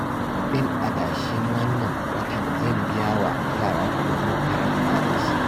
Kudin adashin wannan watan zan biya wa yara kuɗin makaranta da shi